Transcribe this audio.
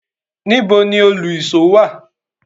Níbo ni Òlu-ìsó wà?